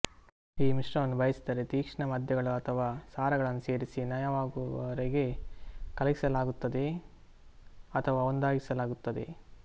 ಈ ಮಿಶ್ರಣವನ್ನು ಬಯಸಿದರೆ ತೀಕ್ಷ್ಣ ಮದ್ಯಗಳು ಅಥವಾ ಸಾರಗಳನ್ನು ಸೇರಿಸಿ ನಯವಾಗುವವರೆಗೆ ಕಲಕಿಸಲಾಗುತ್ತದೆ ಅಥವಾ ಒಂದಾಗಿಸಲಾಗುತ್ತದೆ